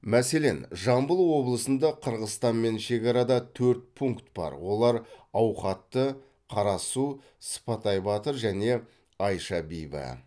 мәселен жамбыл облысында қырғызстанмен шекарада төрт пункт бар олар ауқатты қарасу сыпатай батыр және айша бибі